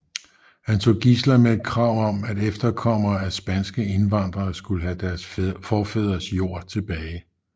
Han tog gidsler med et krav om at efterkommere efter spanske indvandrere skulle have deres forfædres jord tilbage